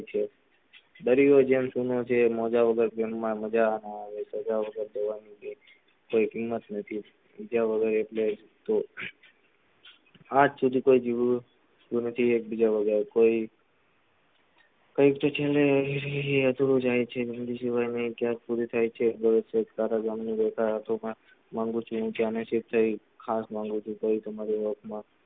કઈ તો છેને એતો રોજ અહીં છે, હું છું ક્યાં પુરી થાય છે, અને એના સિવાય તારા ગામ ગાથા માંગુ છું હું ત્યાંના, છેક થઇ ખાસ માંગુ છું તોઈ તમારા,